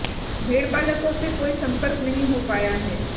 भेड़पालकों से कोई संपर्क नहीं हो पाया है